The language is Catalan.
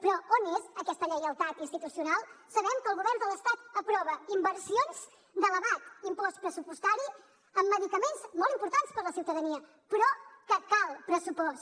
però on és aquesta lleialtat institucional sabem que el govern de l’estat aprova inversions d’elevat impost pressupostari amb medicaments molt importants per a la ciutadania però que cal pressupost